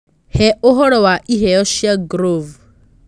uhe ũhoro wa iheo cĩa groove